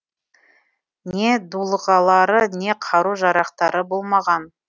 не дулығалары не қару жарақтары болмаған